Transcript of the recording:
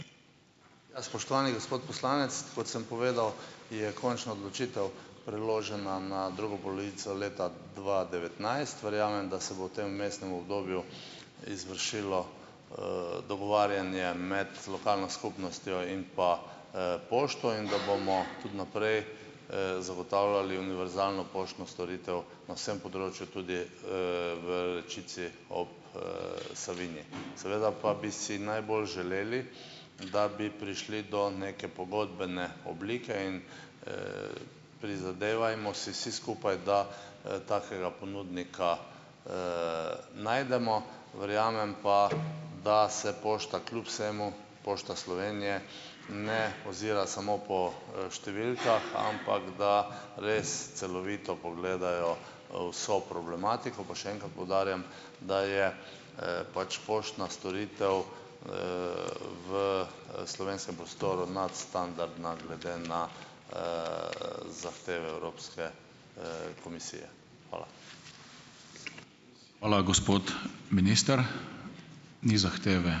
Ja, spoštovani gospod poslanec, kot sem povedal, je končna odločitev preložena na drugo polovico leta dva devetnajst. Verjamem, da se bo v tem vmesnem obdobju izvršilo, dogovarjanje med lokalno skupnostjo in pa, pošto. In da bomo tudi naprej, zagotavljali univerzalno poštno storitev na vsem področju, tudi, v Rečici ob, Savinji. Seveda pa bi si najbolj želeli, da bi prišli do neke pogodbene oblike in, prizadevajmo si vsi skupaj, da, takega ponudnika, najdemo. Verjamem pa, da se pošta kljub vsemu, Pošta Slovenije, ne ozira samo po, številkah, ampak da res celovito pogledajo, vso problematiko. Pa še enkrat poudarjam, da je, pač poštna storitev, v, slovenskem prostoru nadstandardna glede na, zahteve Evropske, komisije. Hvala.